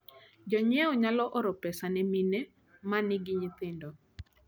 Jonyiewo nyalo oro pesa ne mine ma nigi nyithindo.